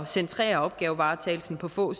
centrere opgavevaretagelsen på få